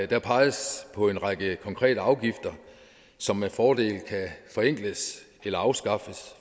der peges på en række konkrete afgifter som med fordel kan forenkles eller afskaffes